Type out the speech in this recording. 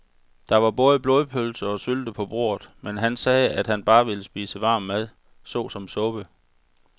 Der var både blodpølse og sylte på bordet, men han sagde, at han bare ville spise varm mad såsom suppe.